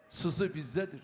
Sızı bizdədir.